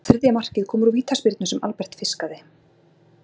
Þriðja markið kom úr vítaspyrnu sem Albert fiskaði!